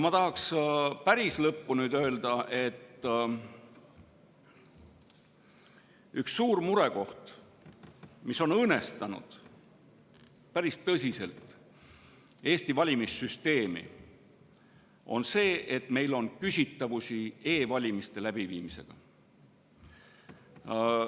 Päris lõppu ma tahaks öelda, et üks suur murekoht, mis on tõsiselt õõnestanud Eesti valimissüsteemi, on see, et meil on küsitavusi e‑valimiste läbiviimisega.